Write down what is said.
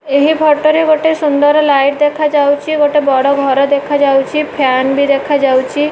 ଏହି ଫଟ ରେ ଗୋଟେ ସୁନ୍ଦର ଲାଇଟ୍ ଦେଖାଯାଉଚି ଗୋଟେ ବଡ଼ ଘର ଦେଖାଯାଉଚି ଫ୍ୟାନ୍ ବି ଦେଖାଯାଉଛି।